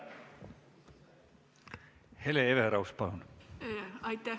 Hele Everaus, palun!